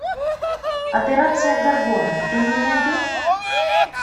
операция горгона ты мне найдешь